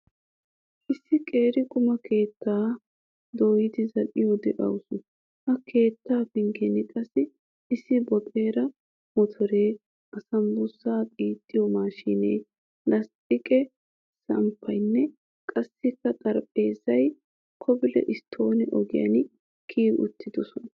Issi qeeri quma keettaa dooyid zal'iyo de'awusu. Ha keettee penggen qassi issi boxere motore, asambussaaa xiixxiyo maashinee, lastiqee samppaynne qassikka xaraphpheezzay kobile stoone ogiyan kiyi uttidosona.